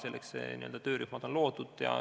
Selleks on ka töörühmad loodud.